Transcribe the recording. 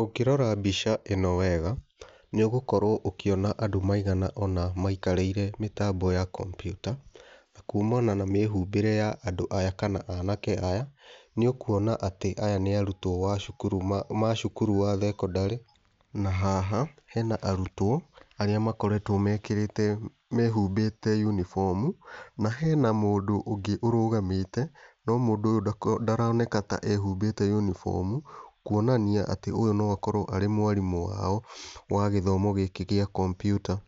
Ũngĩrora mbica ĩno wega, nĩ ũgũkorwo ũkĩona andũ maiga ũna maikarĩire mĩtambo ya computer, na kumana na mĩhũmbĩre ya andũ aya kana anake aya, nĩ ũkuona atĩ aya nĩ arutwo a wa ma cukuru wa thekondarĩ. Na haha hena arutwo arĩa makoretwo mekĩrĩte mehumbĩte uniform na hena mũndũ ũngĩ ũrũgamĩte, no mũndũ ũyũ ndaroneka ta ehumbĩte uniform, kuonania atĩ ũyũ no akorwo arĩ mwarimũ wao wa gĩthomo gĩkĩ gĩa computer.